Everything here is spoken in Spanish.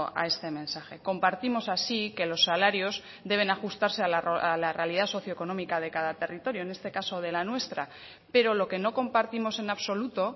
a este mensaje compartimos así que los salarios deben ajustarse a la realidad socioeconómica de cada territorio en este caso de la nuestra pero lo que no compartimos en absoluto